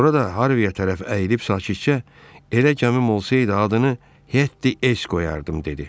Sonra da Harviyə tərəf əyilib sakitcə, elə gəmim olsaydı adını Hetti Es qoyardım dedi.